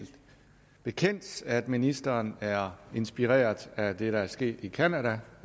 bekendt at ministeren er inspireret af det der er sket i canada